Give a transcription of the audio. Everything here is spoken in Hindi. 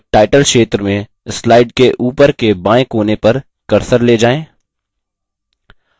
अब टाइटल क्षेत्र में slide के ऊपर के बाएँ कोने पर cursor ले जाएँ